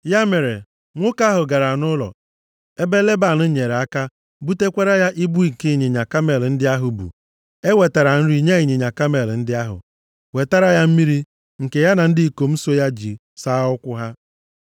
Ya mere, nwoke ahụ gara nʼụlọ, ebe Leban nyere aka butukwaara ya ibu nke ịnyịnya kamel ndị ahụ bu. E wetara nri nye ịnyịnya kamel ndị ahụ, wetara ya mmiri nke ya na ndị ikom so ya ji saa ụkwụ ha.